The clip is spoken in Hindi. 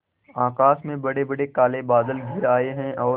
आकाश में बड़ेबड़े काले बादल घिर आए हैं और